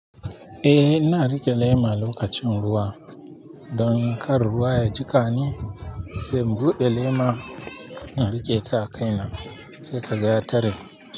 Eh, ina riƙe lema lokacin ruwa. Don kar ruwa ya jiƙani, sai in buɗe lema, na riƙe ta a kaina sai ka ga tare.